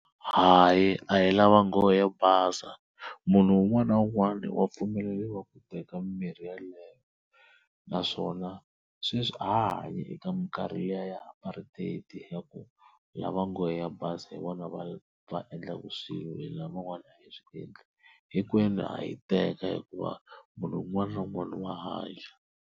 Hayi a hi lava nghohe yo basa munhu un'wana na un'wana wa pfumeleriwa ku teka mimirhi yaleyo, naswona sweswi a ha ha hanyi eka minkarhi liya ya Apartheid ya ku lava nghohe yo basa hi vona va va endlaka swilo hina van'wana a hi swi endla hinkwenu ha yi teka hikuva munhu un'wana na un'wana wa hanya.